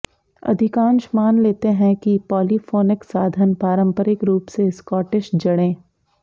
अधिकांश मान लेते हैं कि पॉलीफोनिक साधन पारंपरिक रूप से स्कॉटिश जड़ें